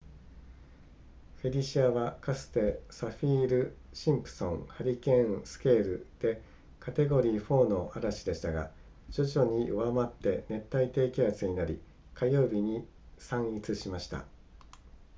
フェリシアはかつてサフィールシンプソンハリケーンスケールでカテゴリー4の嵐でしたが徐々に弱まって熱帯低気圧になり火曜日に散逸しました